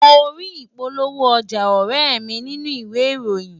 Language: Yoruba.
Mo rí ìpolówó ọjà ọ̀rẹ́e mi nínú ìwé ìròyìn